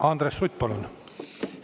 Andres Sutt, palun!